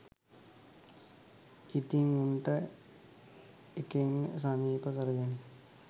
ඉතින් උන්ට ඒකෙන් සනීප කරගෙන